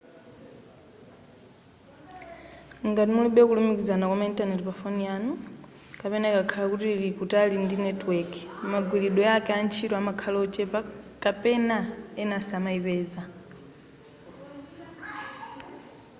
ngati mulibe kulumikizana kwama intaneti pafoni yanu kapena ikakhala kuti ili kutali ndi netiweki magwiridwe ake antchito amakhala ochepa kapena ena samayipeza